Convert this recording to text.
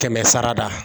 Kɛmɛ sara da